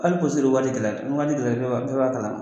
Hali waati gɛlɛyala bɛɛ b'a kalama.